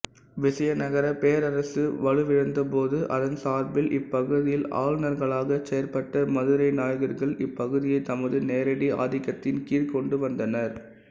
விசயநகரப் பேரரசு வலுவிழந்தபோது அதன் சார்பில் இப்பகுதியில் ஆளுனர்களாகச் செயற்பட்ட மதுரை நாயக்கர்கள் இப்பகுதியைத் தமது நேரடி ஆதிக்கத்தின்கீழ் கொண்டுவந்தனர்